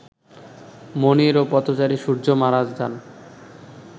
মনির ও পথচারী সূর্য্য মারা যান